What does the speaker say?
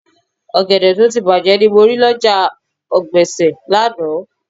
Ọ̀gẹ̀dẹ̀ tó ti bàjé ni mo rí lọ́jà ọ̀gbẹ̀sẹ̀ lánàá